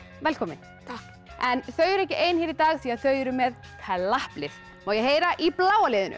velkomin takk þau eru ekki ein hér í dag því þau eru með klapplið má ég heyra í bláa liðinu